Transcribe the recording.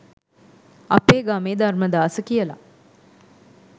අපේ ගමේ ධර්මදාස කියලා